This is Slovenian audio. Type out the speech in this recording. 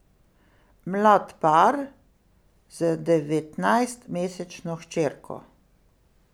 Mlad par z devetnajstmesečno hčerko.